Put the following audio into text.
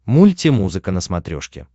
мульти музыка на смотрешке